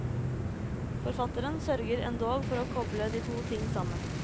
Forfatteren sørger endog for å koble de to ting sammen.